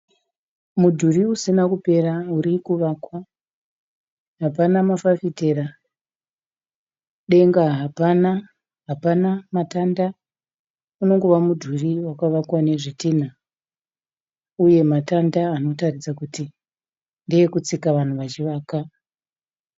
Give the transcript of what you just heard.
Mudhuri usina kupera uri kuvakwa, hapana mafafitera, denga hapana, hapana matanda unongova mudhuri wakavakwa nezvidhinha uye matanda anotaridza kuti ndeekutsika vanhu vachi vaka.